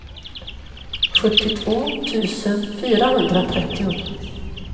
sjuttiotvå tusen fyrahundratrettio